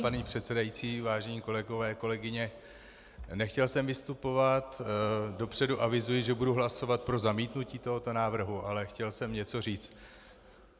Vážená paní předsedající, vážení kolegové, kolegyně, nechtěl jsem vystupovat, dopředu avizuji, že budu hlasovat pro zamítnutí tohoto návrhu, ale chtěl jsem něco říct.